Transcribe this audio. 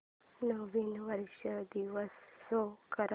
नवीन वर्ष दिवस शो कर